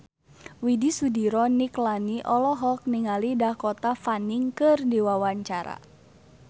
Widy Soediro Nichlany olohok ningali Dakota Fanning keur diwawancara